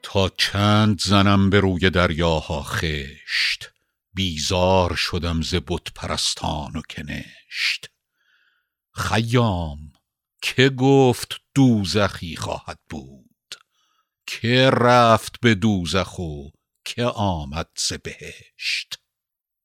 تا چند زنم به روی دریاها خشت بیزار شدم ز بت پرستان و کنشت خیام که گفت دوزخی خواهد بود که رفت به دوزخ و که آمد ز بهشت